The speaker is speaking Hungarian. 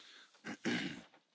Elnök Asszony!